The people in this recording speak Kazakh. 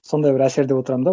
сондай бір әсерде отырамын да